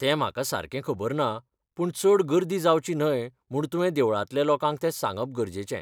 तें म्हाका सारकें खबर ना पूण चड गर्दी जावची न्हय म्हूण तुवें देवळांतल्या लोकांक तें सांगप गरजेचें.